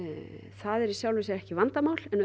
það er í sjálfu sér ekki vandamál en